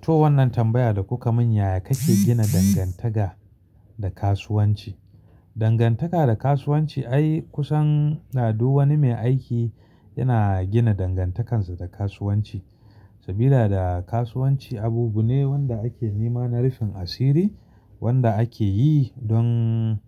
To wannan tambaya da kuka mun yaya kake gina dangantaka da kasuwanci? Dangantaka da kasuwanci ai kusan da duk wani mai aiki yana gina dangantakansa da kasuwanci. Sabida da kasuwanci abune wanda ake nema na rufin asiri, wanda ake yi don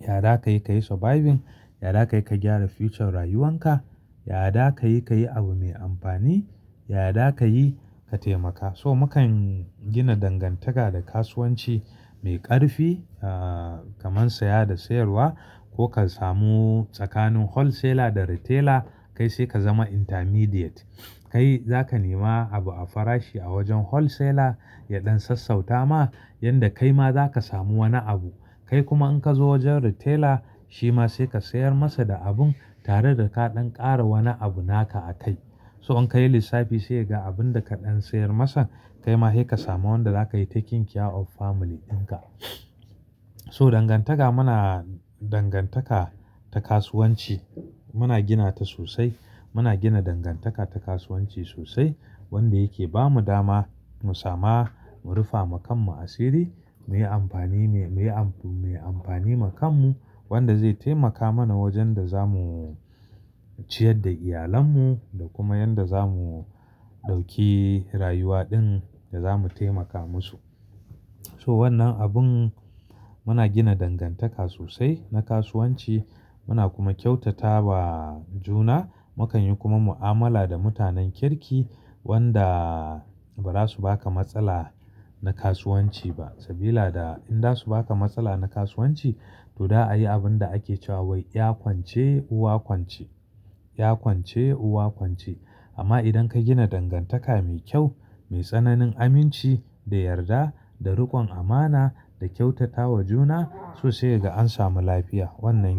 yada kayi ka yi surviving, yada kayi ka gyara future rayuwan ka, yada kayi kayi abu mai amfani, yada kayi ka taimaka. So mukan gina dangantaka da kasuwanci mai ƙarfi ah kaman saya da sayarwa, ko ka samu tsakanin wholesaler da retailer kai sai ka zama intermediate. Kai zaka nema abu a farashi a wajen wholesaler, ya ɗan sassauta ma yanda kai ma zaka samu wani abu. Kai kuma in ka zo wajen retailer shima sai ka sayar masa da abun tare da ka ɗan ƙara wani abu naka a kai. So in ka yi lissafi sai ga abun da ka ɗan sayar masa kai ma sai ka samu wanda zaka yi "taking care of family" dinka. So dangantaka muna dangantaka ta kasuwanci muna gina ta sosai. Muna gina dangantaka ta kasuwanci sosai wanda yake bamu dama mu sama mu rufa makanmu asiri, muyi amfani me amfani makanmu, wanda zai taimaka mana wajen da zamu ciyar da iyalenmu da kuma yanda zamu ɗauki rayuwa ɗin da zamu taimaka musu. To wannan abun muna gina dangantaka sosai na kasuwanci, muna kuma kyautatawa juna. Mukanyi kuma mu'amala da mutanen kirki wanda ba za su baka matsala na kasuwanci ba. Sabida da in za su baka matsala na kasuwanci, to da a yi abun da ake cewa wai ya kwance uwa kwance, ya kwance uwa kwance. Amma idan ka gina dangantaka mai kyau, mai tsananin aminci da yarda da rikon amana da kyautatawa juna so sai ka ga an samu lafiya wannan.